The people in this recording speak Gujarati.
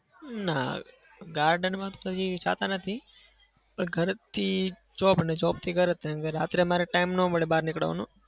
ના. garden માં તો જતા નથી. પણ ઘરેથી job અને job થી ઘરે કેમ કે રાત્રે અમારે time ના મળે બહાર નીકળવાનો.